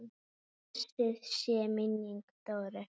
Blessuð sé minning Dóru.